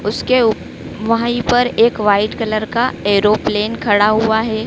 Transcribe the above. उसके उप वहीं पर एक वाइट कलर का एरोप्लेन खड़ा हुआ है।